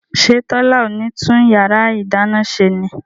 ṣé Tọ́lá ò ní tún yàrá ìdáná ṣe ni?